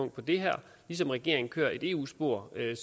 det her lige som regeringen kører et eu spor hvilket